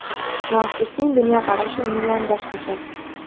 Muassisning dunyoqarashi umuman boshqacha.